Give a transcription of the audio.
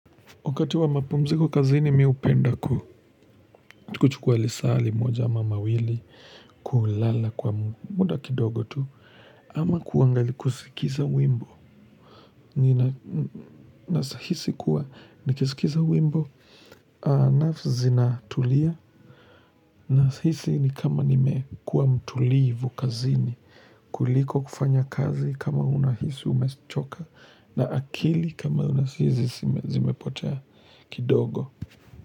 Wakati wa mapumziko kazini mimi hupenda ku kuchukua lisaa limoja ama mawili kulala kwa muda kidogo tu. Ama kuangali kusikiza wimbo naeza hisi kuwa nikisikiza wimbo nerves zinatulia naeza hisi ni kama nimekuwa mtulivu kazini kuliko kufanya kazi kama unahisi umechoka na akili kama unahisi zimepotea kidogo.